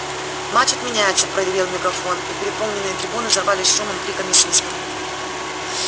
матч отменяется проревел мегафон и переполненные трибуны взорвались шумом криками свистом